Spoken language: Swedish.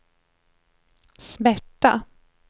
smärta